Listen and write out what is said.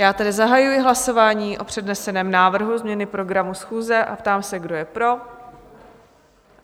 Já tedy zahajuji hlasování o předneseném návrhu změny programu schůze a ptám se, kdo je pro?